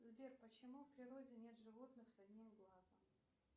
сбер почему в природе нет животных с одним глазом